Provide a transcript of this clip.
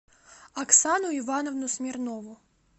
оксану ивановну смирнову